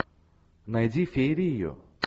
найди феерию